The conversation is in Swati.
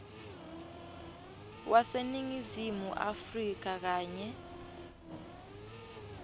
waseningizimu afrika kanye